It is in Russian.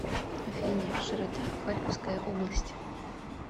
афина широта харьковская область